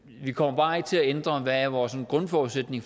vi kommer bare ikke til at ændre hvad vores grundforudsætning